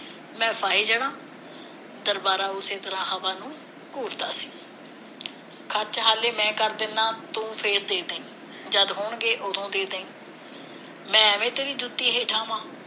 ਮੈਂ ਫਾਹੇ ਜਾਣਾ ਦਰਬਾਰਾ ਉਸੇ ਤਰ੍ਹਾਂ ਹਵਾ ਨੂੰ ਸੀ ਸੱਚ ਹਾਲੇ ਮੈਂ ਕਰ ਦਿੰਨਾ ਤੂੰ ਫਿਰ ਦੇ ਦੀ ਜਦ ਹੋਣਗੇ ਉਦੋ ਦੇ ਦੀ ਮੈਂ ਐਵੇਂ ਤੇਰੀ ਜੁੱਤੀ ਹੇਠਾਂ ਆਵਾਂ